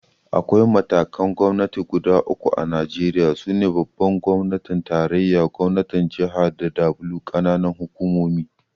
Akwai matakan Gwamnati guda uku a Najeriya, su ne Babban gwamnatin tarayya, Gwamnatin jaha da W ƙananan hukumomi